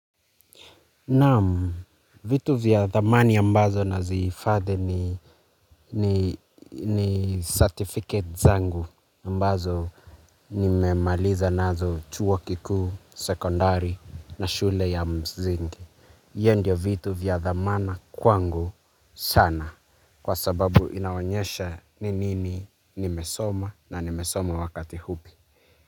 Naam, vitu vya dhamani ambazo na zihifadhi ni ni certificate zangu ambazo nimemaliza nazo chuo kikuu sekondari na shule ya mzingi. Hio ndio vitu vya dhamana kwangu sana kwa sababu inaonyesha ni nini nimesoma na nimesoma wakati hupi.